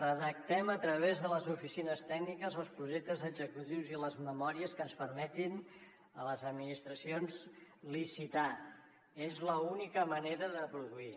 redactem a través de les oficines tècniques els projectes executius i les memòries que ens permetin a les administracions licitar és l’única manera de produir